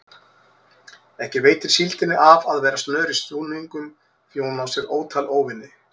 Ekki veitir síldinni af að vera snör í snúningum því hún á sér ótal óvini.